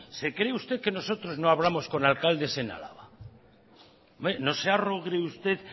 se cree usted que nosotros no hablamos con alcaldes en álava hombre no se usted